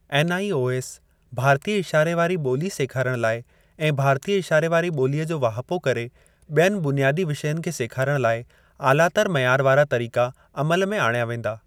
NIOS भारतीय इशारे वारी ॿोली सेखारण लाइ ऐं भारतीय इशारे वारी ॿोलीअ जो वाहिपो करे ॿियनि बुनियादी विषयनि खे सेखारण लाइ ऑलातर मइयार वारा तरीका अमल में आणिया वेंदा।